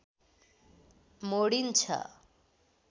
मोडिन्छ